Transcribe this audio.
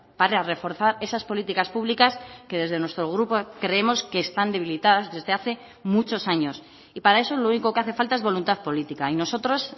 para reforzar esas políticas públicas que desde nuestro grupo creemos que están debilitadas desde hace muchos años y para eso lo único que hace falta es voluntad política y nosotros